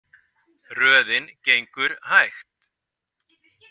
Röðin gengur hægt.